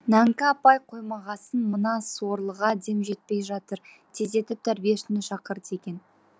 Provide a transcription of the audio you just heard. нәңкі апай қоймағасын мына сорлыға дем жетпей жатыр тездетіп тәрбиешіні шақыр деген